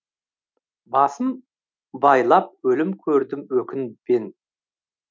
басым байлап өлім көрдім өкінбен